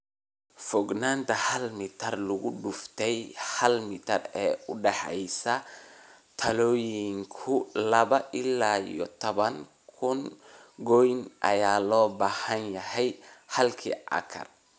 Fogaanta hal mitar lugudufte hal mitar ee u dhaxaysa taallooyinku, laba iyo tawan kuun gooyn ayaa loo baahan yahay halkii acre."